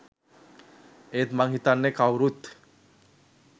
ඒත් මං හිතන්නෙ කවුරුවත්